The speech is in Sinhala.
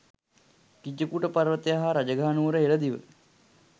ගිජ්ජකූට පර්වතය හා රජගහ නුවර හෙල දිව